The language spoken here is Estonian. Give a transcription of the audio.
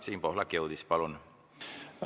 Siim Pohlak jõudis, palun!